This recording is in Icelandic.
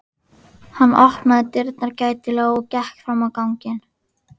Hann opnaði dyrnar gætilega og gekk fram á ganginn.